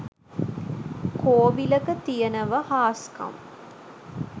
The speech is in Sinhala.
කෝවිලක තියනව හාස්කම්